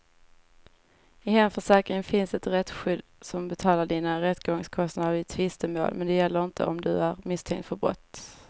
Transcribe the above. I hemförsäkringen finns ett rättsskydd som betalar dina rättegångskostnader vid tvistemål, men det gäller inte om du är misstänkt för brott.